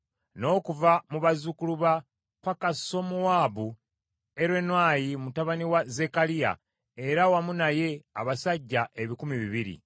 n’okuva mu bazzukulu ba Pakasumowaabu, Eriwenayi mutabani wa Zekkaliya, era wamu naye abasajja ebikumi bibiri (200);